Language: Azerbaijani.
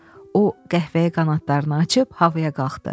o qəhvəyə qanadlarını açıb havaya qalxdı.